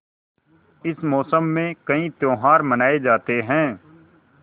इस मौसम में कई त्यौहार मनाये जाते हैं